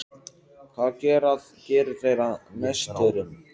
Hvað gerir þær að meisturum?